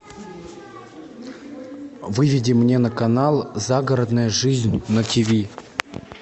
выведи мне на канал загородная жизнь на ти ви